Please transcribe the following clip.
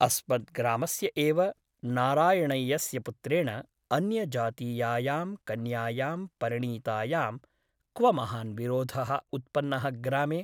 अस्मद् ग्रामस्य एव नारायणय्यस्य पुत्रेण अन्यजातीयायां कन्यायां परिणीतायां क्व महान् विरोधः उत्पन्नः ग्रामे ?